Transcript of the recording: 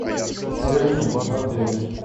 термы в отеле